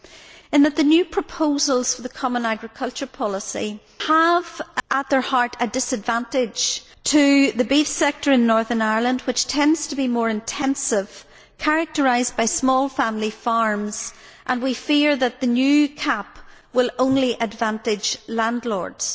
It is that the new proposals for the common agricultural policy have at their heart a disadvantage to the beef sector in Northern Ireland, which tends to be more intensive and is characterised by small family farms, and we fear that the new CAP will only advantage landlords.